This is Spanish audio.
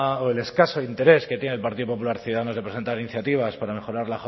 o el escaso interés que tiene el partido popular ciudadanos de presentar iniciativas para mejorar